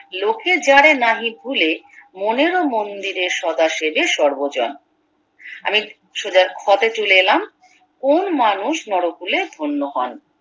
লোকে যারে নাহি ভুলে মনের ও মন্দিরে সদা সেজে সর্বজন আমি সোজা খ তে চলে এলাম কোন মানুষ নরকুলে ধন্য হন